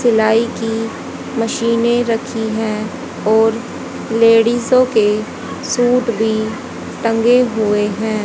सिलाई की मशीने रखी है और लेडिसो के सूट भी टंगे हुए हैं।